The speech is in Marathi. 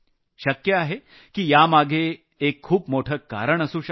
शक्य आहे की यामागे एक खूप मोठं कारण असू शकतं